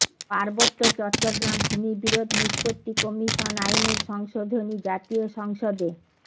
পার্বত্য চট্টগ্রাম ভূমি বিরোধ নিষ্পত্তি কমিশন আইনের সংশোধনী জাতীয় সংসদে